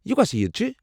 یہِ کوٚس عید چھِ؟